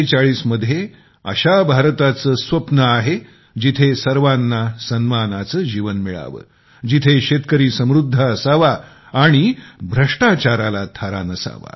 2047 मध्ये अशा भारताचे स्वप्न आहे जिथे सर्वाना सन्मानाचे जीवन मिळावे जिथे शेतकरी समृध्द असावा आणि भ्रष्टाचाराला थारा नसावा